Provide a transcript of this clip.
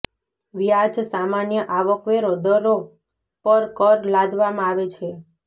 વ્યાજ સામાન્ય આવક વેરો દરો પર કર લાદવામાં આવે છે